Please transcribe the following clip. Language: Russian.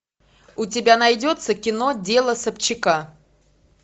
у тебя найдется кино дело собчака